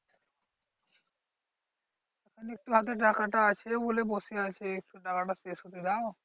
মানে একটু হাতে টাকাটা আছে বলে বসে আছে। একটু টাকাটা শেষ হতে দাও।